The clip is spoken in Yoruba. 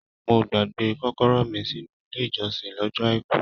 Mo gbàgbé kọ́kọ́rọ́ mí sínú ilé ìjọsìn lọ́jọ́ àìkú.